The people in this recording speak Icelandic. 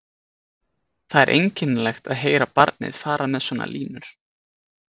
Það er einkennilegt að heyra barnið fara með svona línur